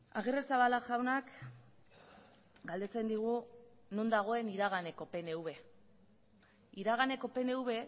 agirrezabala jaunak galdetzen digu non dagoen iraganeko pnv iraganeko pnv